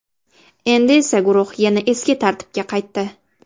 Endi esa guruh yana eski tarkibga qaytdi.